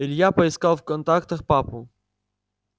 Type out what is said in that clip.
илья поискал в контактах папу